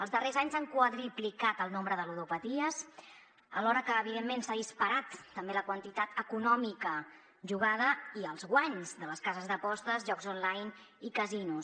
els darrers anys s’han quadruplicat el nombre de ludopaties alhora que evidentment s’ha disparat també la quantitat econòmica jugada i els guanys de les cases d’apostes jocs online i casinos